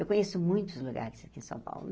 Eu conheço muitos lugares aqui em São Paulo.